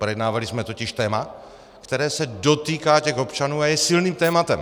Projednávali jsme totiž téma, které se dotýká těch občanů a je silným tématem.